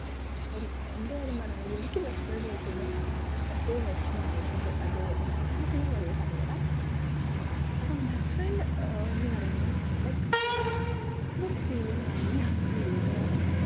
അപ്പം എന്റെ കാര്യം പറയുകയാണെങ്കിൽ എനിക്ക് best friend ന്നു കേൾക്കുമ്പോ എപ്പോഴും വെഷമമാണ് വരുന്നത് അത് എന്ത്‌കൊണ്ടാണ്ന്നു ഒക്കെ ഞാൻ വഴിയേ പറഞ്ഞ് തരാം അപ്പൊ best friend ആഹ് ന്നു പറയുമ്പം like അതൊരു feeling ആണ്ന്ന് ഞാൻ പറയുള്ളു കെട്ടോ കാരണം